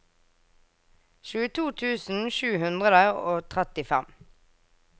tjueto tusen sju hundre og trettifem